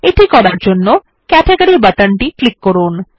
এটি করার জন্য ক্যাটেগরি বাটন টি ক্লিক করুন